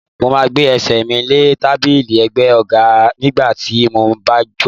Mo máa gbé Ẹsẹ̀ mi lé tábìlì ẹ̀gbẹ́ àga nígbà tí mo bá jòkó.